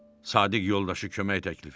Sadiq yoldaşı kömək təklif etdi.